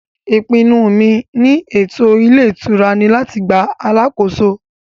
ìpinnu mi ni ètò ilé ìtura ni láti gba alàkóso